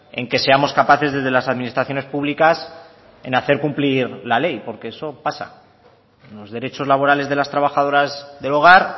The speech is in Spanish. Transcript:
en que seamos capaces desde las administraciones públicas en hacer cumplir la ley porque eso pasa los derechos laborales de las trabajadoras del hogar